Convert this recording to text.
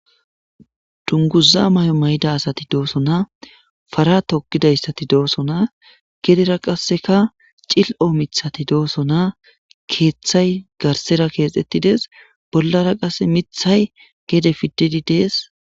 Dungguza may'o may'ida asati dosonna. Para toobidaysati dosonna. Gedera qasakka cil''o miththati dosonna. Keththay garessera kexxettitides. Bollara qasa miththay gedde pididi des.